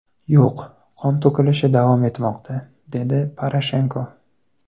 Yo‘q, qon to‘kilishi davom etmoqda”, - dedi Poroshenko.